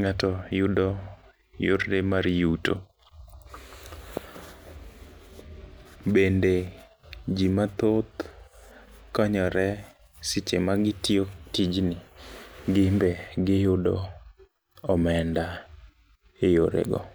ng'ato yudo yore mar yuto. Bende jii mathoth konyore seche ma gitiyo tijni gin be giyudo omenda e yore go.